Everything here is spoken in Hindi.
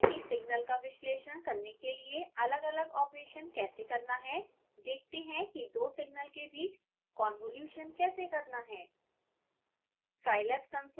अब सीखते हैं कि सिग्नल का विश्लेषण करने के लिए अलगअलग आपरेशन कैसे करना है देखते हैं कि दो सिग्नल के बीच convolution कैसे करना है